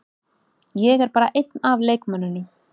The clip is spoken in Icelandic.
Ég er bara einn af leikmönnunum.